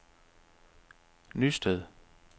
Nysted